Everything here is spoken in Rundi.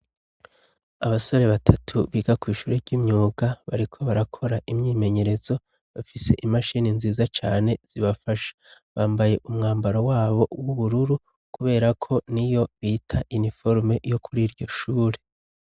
Abasore batatu biga kwishure ry'imyuga bariko barakora imyimenyerezo bafise imashini nziza cane zibafasha, bambaye umwambaro wabo w'ubururu kuberako niyo bita iniforume yo kuriryo shure.